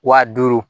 Wa duuru